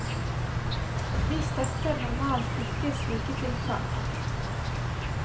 Vi støtter normalt ikke slike tiltak.